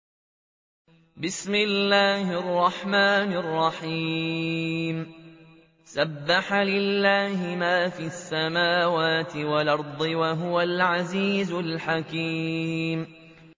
سَبَّحَ لِلَّهِ مَا فِي السَّمَاوَاتِ وَالْأَرْضِ ۖ وَهُوَ الْعَزِيزُ الْحَكِيمُ